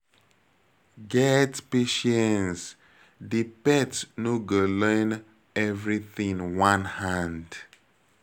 Get patience, di pet no go learn everything one hand